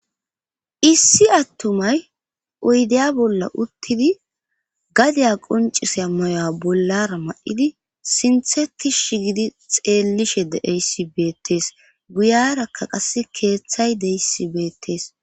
issi attumay oydeya bolla uttidi gadiya qoncisea mayoya bollara ma7idi sintheti shi gidi xeellishe deeyssi beettees guyarakka qas keeththay deyissi beettees